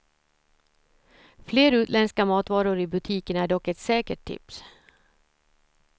Fler utländska matvaror i butikerna är dock ett säkert tips.